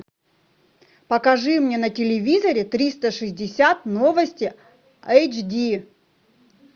покажи мне на телевизоре триста шестьдесят новости эйч ди